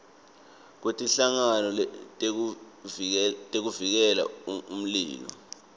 kwetinhlangano tekuvikela umlilo